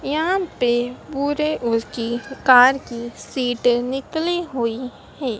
यहां पे पुरे ओर की दुकान की सीटें निकली हुई हैं।